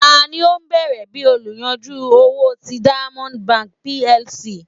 tani o bẹrẹ bi oluyanju owo ti diamond bank PLC?